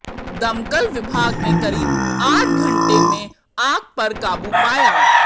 दमकल विभाग ने करीब आठ घंटे में आग पर काबू पाया